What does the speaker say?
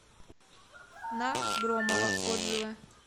на громова отзывы